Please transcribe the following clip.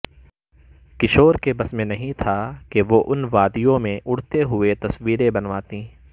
کشور کے بس میں نہیں تھا کہ وہ ان وادیوں میں اڑتے ہوئے تصویریں بنواتی